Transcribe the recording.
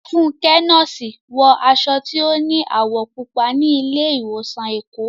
Fúnkẹ́, nọ́ọ̀sì, wọ aṣọ tí ó ní àwọ̀ púpọ̀ ní ilé ìwòsàn Èkó.